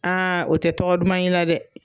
o te tɔgɔ duman y'i la dɛ